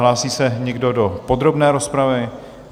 Hlásí se někdo do podrobné rozpravy?